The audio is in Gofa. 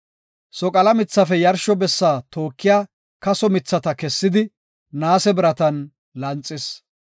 Soqala mithafe yarsho bessa tookiya kaso mithata kessidi, naase biratan lanxis.